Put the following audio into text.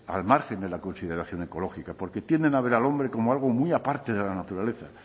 al margen de la consideración ecológica porque tienden a ver al hombre como algo muy aparte de la naturaleza